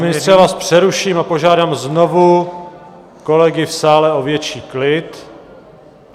Pane ministře, já vás přeruším a požádám znovu kolegy v sále o větší klid.